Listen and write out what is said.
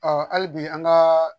hali bi an kaa